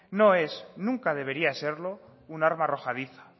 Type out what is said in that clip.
nunca debería serlo un arma arrojadiza